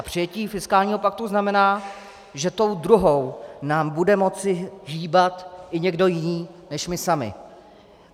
A přijetí fiskálního paktu znamená, že tou druhou nám bude moci hýbat i někdo jiný než my sami.